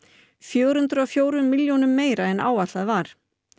fjögur hundruð og fjórum milljónum meira en áætlað var